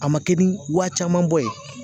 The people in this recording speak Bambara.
A ma kɛ ni wa caman bɔ ye